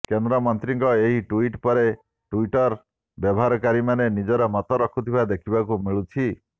କେନ୍ଦ୍ରମନ୍ତ୍ରୀଙ୍କ ଏହି ଟ୍ବିଟ୍ ପରେ ଟ୍ବିଟର ବ୍ୟବହାରକାରୀମାନେ ନିଜର ମତ ରଖିଥିବା ଦେଖିବାକୁ ମିଳିଛି